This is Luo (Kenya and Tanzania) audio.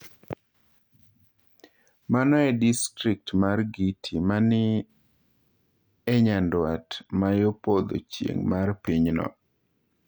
Mano e distrikt mar Giti ma ni e nyandwat ma yo podho chieng’ mar pinyno.